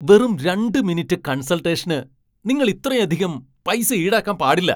വെറും രണ്ട് മിനിറ്റ് കൺസൾട്ടേഷന് നിങ്ങൾ ഇത്രയധികം പൈസ ഈടാക്കാൻ പാടില്ല !